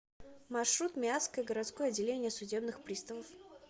маршрут миасское городское отделение судебных приставов